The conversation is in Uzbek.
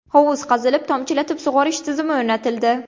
Hovuz qazilib, tomchilatib sug‘orish tizimi o‘rnatildi.